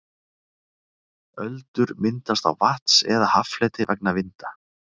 Öldur myndast á vatns- eða haffleti vegna vinda.